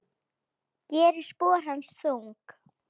Gerir spor hans þung.